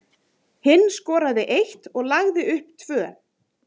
Hinn skoraði eitt og lagði upp tvö.